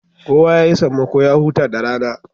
Kowa yayi sammako ya huta da rana